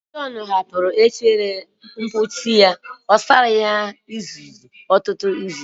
John hapụrụ efere mposi ya na-asaghị ya ruo ọtụtụ izu